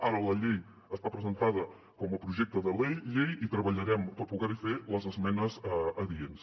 ara la llei està presentada com a projecte de llei i treballarem per poder hi fer les esmenes adients